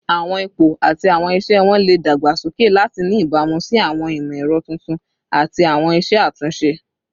Awọn ipo ati awọn iṣẹ wọn le dagbasoke lati ni ibamu si awọn imọ-ẹrọ tuntun ati awọn iṣe atunṣe